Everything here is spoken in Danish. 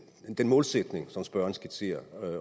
målsætning som spørgeren skitserer